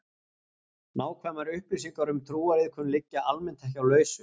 Nákvæmar upplýsingar um trúariðkun liggja almennt ekki á lausu.